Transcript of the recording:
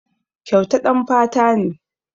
Kyauta ɗan fata ne.